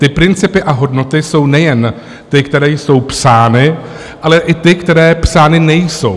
Ty principy a hodnoty jsou nejen ty, které jsou psány, ale i ty, které psány nejsou.